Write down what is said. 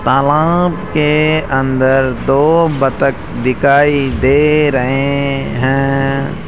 तालाब के अंदर दो बत्तख दिखाई दे रहे हैं।